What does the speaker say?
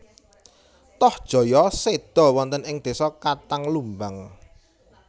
Tohjaya seda wonten ing desa Katang Lumbang